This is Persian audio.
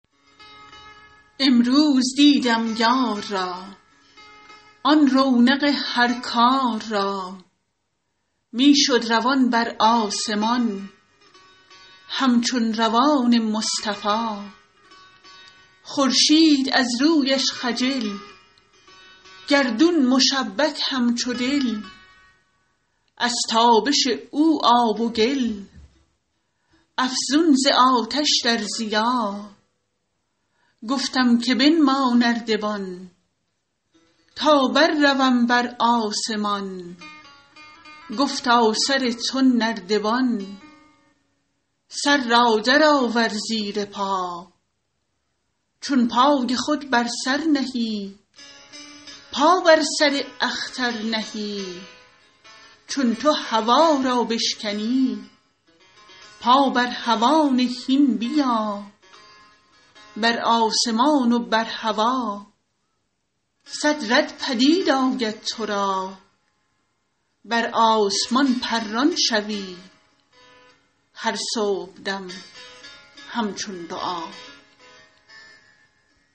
امروز دیدم یار را آن رونق هر کار را می شد روان بر آسمان همچون روان مصطفا خورشید از رویش خجل گردون مشبک همچو دل از تابش او آب و گل افزون ز آتش در ضیا گفتم که بنما نردبان تا برروم بر آسمان گفتا سر تو نردبان سر را درآور زیر پا چون پای خود بر سر نهی پا بر سر اختر نهی چون تو هوا را بشکنی پا بر هوا نه هین بیا بر آسمان و بر هوا صد ره پدید آید تو را بر آسمان پران شوی هر صبحدم همچون دعا